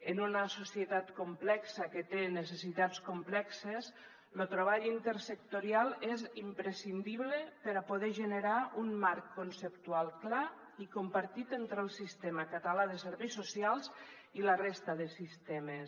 en una societat complexa que té necessitats complexes lo treball intersectorial és imprescindible per a poder generar un marc conceptual clar i compartit entre el sistema català de serveis socials i la resta de sistemes